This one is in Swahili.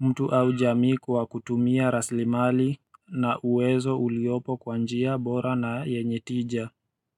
mtu au jamii kwa kutumia raslimali na uwezo uliopo kwa njia bora na yenye tija.